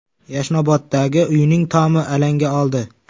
Yashnoboddagi uyning tomi alanga oldi.